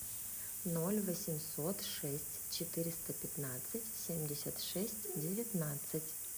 ноль восемьсот шесть четыреста пятнадцать семьдесят шесть девятнадцать